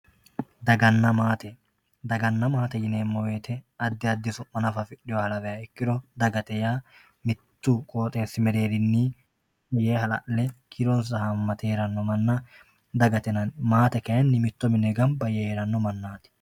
daganna maate daganna maate yineemmo wote addi addi su'ma afidhinoha nafa lawiha ikkiro dagate yaa mittu qooxeessi mereerinni yee hala'le kiironsa haammate heeranno manna dagate yinanni maate kayiinni mitto mine ganba yee heeranno mannati.